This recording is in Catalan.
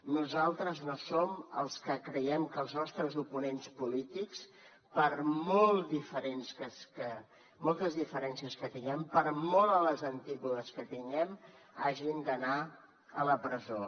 nosaltres no som els que creiem que els nostres oponents polítics per moltes diferències que tinguem per molt a les antípodes que tinguem hagin d’anar a la presó